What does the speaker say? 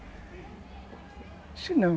Eu disse, não.